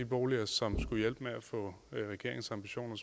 boliger som skulle hjælpe med at få regeringens ambitioner